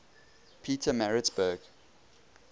petermaritzburg